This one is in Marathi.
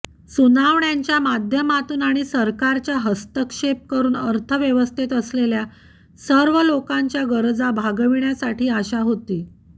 सुनावण्यांच्या माध्यमातून आणि सरकारच्या हस्तक्षेप करून अर्थव्यवस्थेत असलेल्या सर्व लोकांच्या गरजा भागवण्यासाठी आशा होती